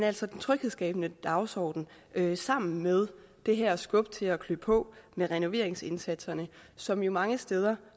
altså en tryghedsskabende dagsorden sammen med det her skub til at klø på med renoveringsindsatserne som jo mange steder